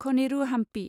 खनेरु हाम्पि